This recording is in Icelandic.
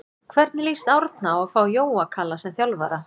Hvernig lýst Árna á að fá Jóa Kalla sem þjálfara?